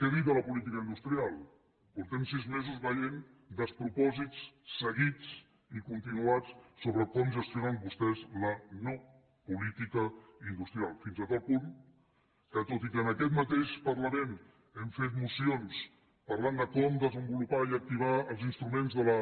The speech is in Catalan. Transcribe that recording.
què dir de la política industrial fa sis mesos que veiem despropòsits seguits i continuats sobre com gestionen vostès la no política industrial fins a tal punt que tot i que en aquest mateix parlament hem fet mocions parlant de com desenvolupar i activar els instruments de la